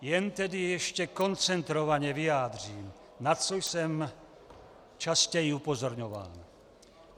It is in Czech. Jen tedy ještě koncentrovaně vyjádřím, na co jsem častěji upozorňoval.